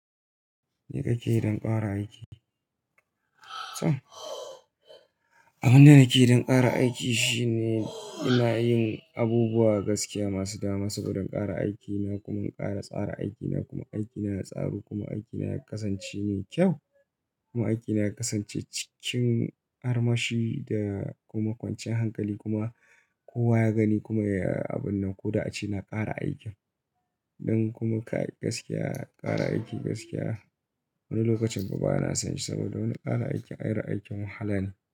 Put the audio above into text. Me kake yi don fara aiki? Abin da nake yi don ƙara aiki shine ina yin abubuwa gaskiya masu dama saboda ƙara aikina kuma in ƙara tsara aikina kuma aikina ya tsaru kuma aikina ya kasance me kyau. Kuma aikina ya kasance cikin armashi da kuma kwanciyar hankali kuma kowa ya gani kuma ya yi abun nan ko da aci na ƙara aikin. Don kuma kai gaskiya, ƙara aiki gaskiya, wani lokacin kuma bana son shi saboda wani ƙara aiki ayar aikin wahala ne.